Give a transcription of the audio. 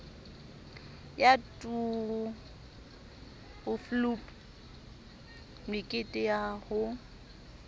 ya turfloop mekete ya ho